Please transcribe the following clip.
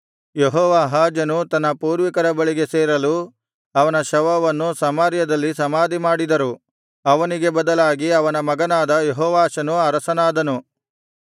ಯೆಹೋವಾಹಾಜನು ತನ್ನ ಪೂರ್ವಿಕರ ಬಳಿಗೆ ಸೇರಲು ಅವನ ಶವವನ್ನು ಸಮಾರ್ಯದಲ್ಲಿ ಸಮಾಧಿಮಾಡಿದರು ಅವನಿಗೆ ಬದಲಾಗಿ ಅವನ ಮಗನಾದ ಯೋವಾಷನು ಅರಸನಾದನು